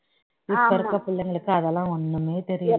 இப்ப இருக்கிற பிள்ளைங்களுக்கு அதெல்லாம் ஒண்ணுமே தெரிய